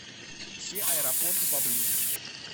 все аэропорты поблизости